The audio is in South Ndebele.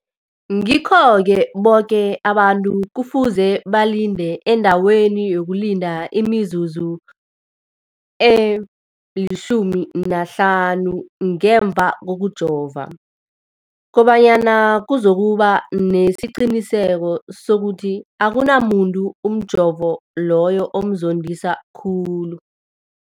Ngikho-ke boke abantu kufuze balinde endaweni yokulinda imizuzu eli-15 ngemva kokujova, koba nyana kuzokuba nesiqiniseko sokuthi akunamuntu umjovo loyo omzondisa khulu.